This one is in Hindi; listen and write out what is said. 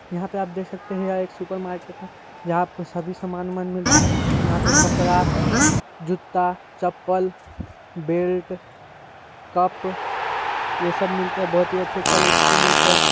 यहाँ पे आप देख सकते है यहाँ पे एक सुपर मार्किट है जहाँ आपको सभी सामान उमान मिलता है यहाँ पे कपडा जुत्ता चप्पल बेल्ट कप ये सब मिलते है ये सब मिलते है बहुत अच्छी क्वालिटी के मिलते है।